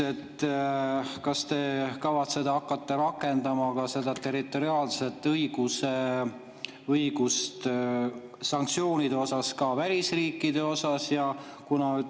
Kas te kavatsete hakata seda territoriaalset õigust rakendama sanktsioonide puhul ka välisriikide suhtes?